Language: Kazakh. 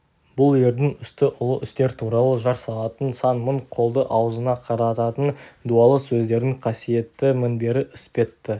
бұл ердің үсті ұлы істер туралы жар салатын сан мың қолды аузына қарататын дуалы сөздердің қасиетті мінбері іспетті